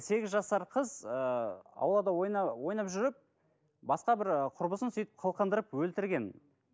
сегіз жасар қыз ыыы аулада ойнап жүріп басқа бір ыыы құрбысын сөйтіп қылқындырып өлтірген